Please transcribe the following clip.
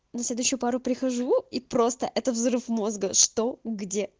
на следующую пару прихожу и просто это взрыв мозга что где